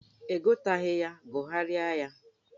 Ị gụtaghị ya, gụgharịa ya!